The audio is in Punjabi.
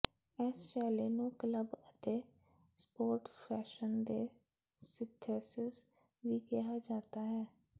ਇਸ ਸ਼ੈਲੀ ਨੂੰ ਕਲੱਬ ਅਤੇ ਸਪੋਰਟਸ ਫੈਸ਼ਨ ਦੇ ਸਿੰਥੇਸਿਸ ਵੀ ਕਿਹਾ ਜਾਂਦਾ ਹੈ